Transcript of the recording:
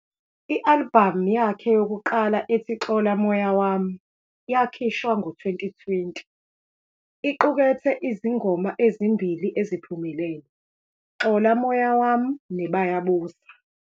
I-albhamu yakhe yokuqala ethi "Xola Moya Wam "' yakhishwa ngo-2020, iqukethe izingoma ezimbili eziphumelele "Xola Moya wam" ne- "Bayabuza".